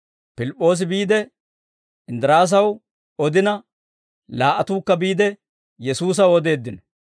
Pilip'p'oosi biide, Inddiraasaw odina laa"atuukka biide, Yesuusaw odeeddino.